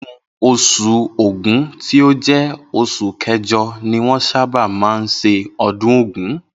Inú os̩ù Ògún tí ó jé̩ os̩ù ké̩jo̩ ni wó̩n sábà máa ń s̩e o̩dún ògún